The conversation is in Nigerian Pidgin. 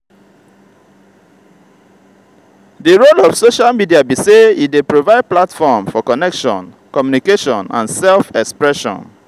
di role of social media be say e dey provide platform for connection communication and self-expression.